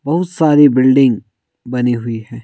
बहुत सारी बिल्डिंग बनी हुई है।